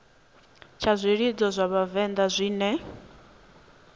tsha zwilidzo zwa vhavenḓa zwine